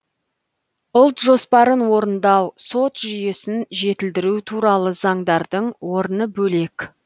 ұлт жоспарын орындау сот жүйесін жетілдіру туралы заңдардың орны бөлек